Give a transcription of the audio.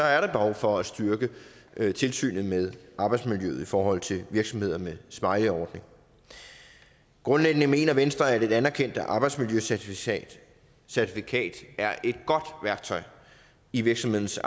er der behov for at styrke tilsynet med arbejdsmiljøet i forhold til virksomheder med smileyordning grundlæggende mener venstre at et anerkendt arbejdsmiljøcertifikat er et godt værktøj i virksomhedens